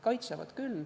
Kaitsevad küll.